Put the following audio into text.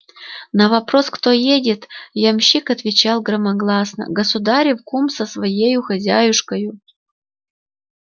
на вопрос кто едет ямщик отвечал громогласно государев кум со своею хозяюшкою